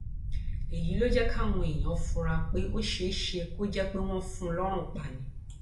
èyí ló jẹ kí àwọn èèyàn fura pé ó ṣeé ṣe kó jẹ pé wọn fún un lọrùn pa ni